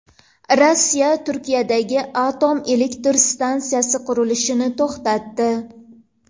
Rossiya Turkiyadagi atom elektr stansiyasi qurilishini to‘xtatdi.